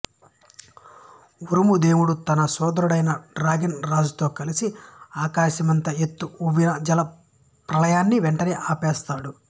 ఉరుము దేవుడు తన సోదరుడైన డ్రాగన్ రాజుతో కలిసి ఆకాశమంత ఎత్తు ఉవ్విన జల ప్రళయాన్ని వెంటనే ఆపేస్తాడు